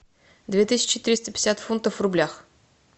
две тысячи триста пятьдесят фунтов в рублях